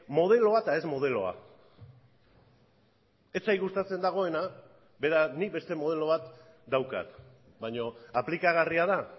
modeloa eta ez modeloa ez zait gustatzen dagoena beraz nik beste modelo bat daukat baina aplikagarria da